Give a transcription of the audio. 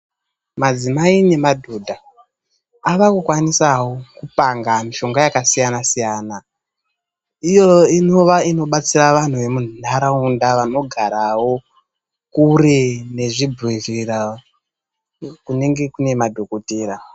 Madzimai nemadhodha avakukwanisavo kupanga mishonga yakasiyana siyana. lyo inova inobatsira vantu vemunharaunda vanogaravo kure nezvibhehlewa kunenge kuine madhokotera.